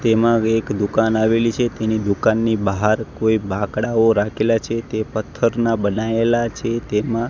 તેમાં એક દુકાન આવેલી છે તેની દુકાનની બાહાર કોઈ બાંકડાઓ રાખેલા છે તે પથ્થરના બનાઇલા છે તેમાં--